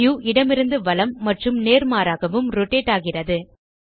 view இடமிருந்து வலம் மற்றும் நேர்மாறாகவும் ரோட்டேட் ஆகிறது